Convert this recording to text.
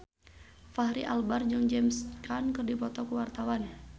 Fachri Albar jeung James Caan keur dipoto ku wartawan